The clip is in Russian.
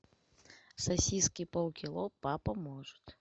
сосиски полкило папа может